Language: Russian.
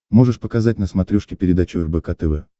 можешь показать на смотрешке передачу рбк тв